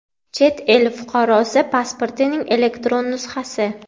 chet el fuqarosi pasportining elektron nusxasi;.